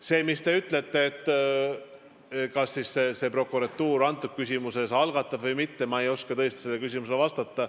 Sellele, mis te küsisite, et kas siis see prokuratuur selles küsimuses menetluse algatab või mitte, ma ei oska tõesti vastata.